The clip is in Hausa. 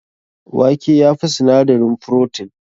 Wake ya fi sinadarin frotin?